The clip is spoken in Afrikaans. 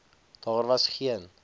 daar was geen